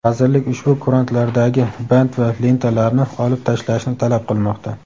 Vazirlik ushbu kurantlardagi bant va "lenta"larni olib tashlashni talab qilmoqda.